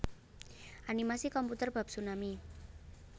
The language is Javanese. Animasi komputer bab tsunami